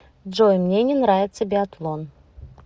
джой мне не нравится биатлон